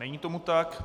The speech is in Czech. Není tomu tak.